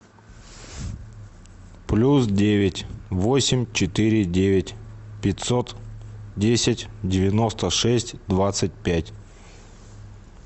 плюс девять восемь четыре девять пятьсот десять девяносто шесть двадцать пять